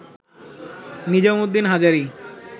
Nizam Uddin Hazari